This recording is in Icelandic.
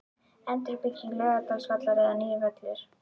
Endurbygging Laugardalsvallar eða nýr völlur?